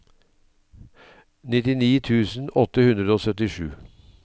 nittini tusen åtte hundre og syttisju